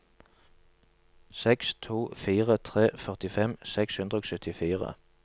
seks to fire tre førtifem seks hundre og syttifire